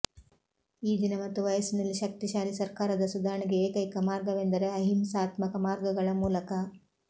ಈ ದಿನ ಮತ್ತು ವಯಸ್ಸಿನಲ್ಲಿ ಶಕ್ತಿಶಾಲಿ ಸರ್ಕಾರದ ಸುಧಾರಣೆಗೆ ಏಕೈಕ ಮಾರ್ಗವೆಂದರೆ ಅಹಿಂಸಾತ್ಮಕ ಮಾರ್ಗಗಳ ಮೂಲಕ